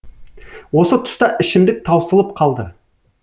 осы тұста ішімдік таусылып қалды